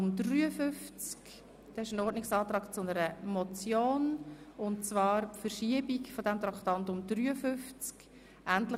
Er bezieht sich auf das Traktandum 53, die Motion 050-2017 Schöni-Affolter (Bremgarten, glp) «